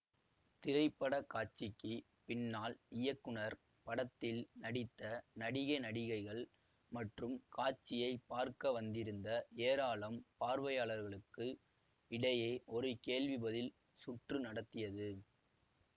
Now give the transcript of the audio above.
திரைப்படக்காட்சிக்குப் பின்னால் இயக்குனர் படத்தில் நடித்த நடிக நடிகைகள் மற்றும் காட்சியை பார்க்க வந்திருந்த ஏராளம் பார்வையாளர்களுக்கு இடையே ஒரு கேள்வி பதில் சுற்று நடத்தியது